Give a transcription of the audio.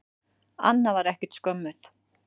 Anna var ekkert skömmuð.